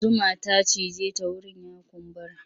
Zuma ta cije ta wurin ya kumbura.